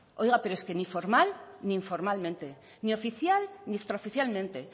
oiga es que ni formal ni informalmente ni oficial ni extraoficialmente